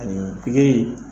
kule in